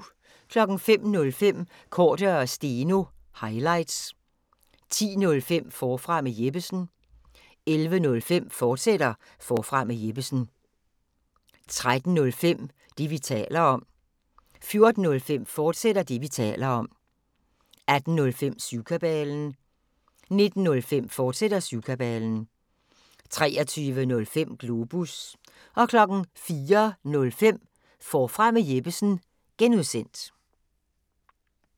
05:05: Cordua & Steno – highlights 10:05: Forfra med Jeppesen 11:05: Forfra med Jeppesen, fortsat 13:05: Det, vi taler om 14:05: Det, vi taler om, fortsat 18:05: Syvkabalen 19:05: Syvkabalen, fortsat 23:05: Globus 04:05: Forfra med Jeppesen (G)